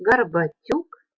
горбатюк